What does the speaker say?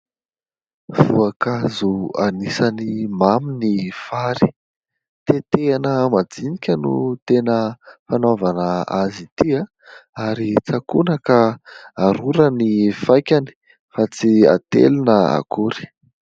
Voankazo anisany mamy ny fary. Tetehana majinika no tena fanaovana azy ity. Ary tsakona ka arora ny faikany fa tsy atelina akory.